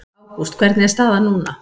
Ágúst hvernig er staðan núna?